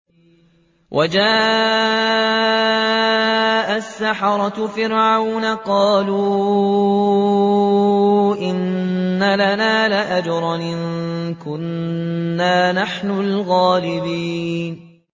وَجَاءَ السَّحَرَةُ فِرْعَوْنَ قَالُوا إِنَّ لَنَا لَأَجْرًا إِن كُنَّا نَحْنُ الْغَالِبِينَ